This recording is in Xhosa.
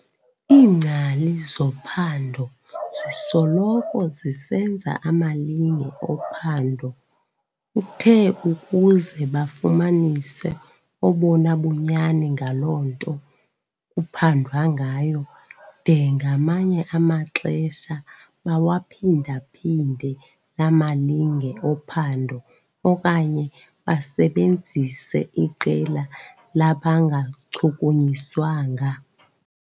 Iingcali zophando zisoloko zisenza amalinge ophando uthe ukuze bafumanise obona bunyani ngaloo nto kuphandwa ngayo, de ngamanye amaxesha bawaphinda-phinde laa malinge ophando okanye basebenzise iqela labangachukunyiswanga.